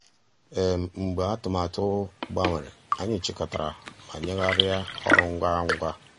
mgbeé àtụ̀màtụ́ gbànwèrè ànyị́ chị́kọ̀tàrà má nyéghàríá ọ́rụ́ ngwá um ngwá.